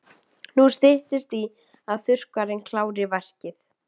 Nú styttist í að þurrkarinn klári verkið.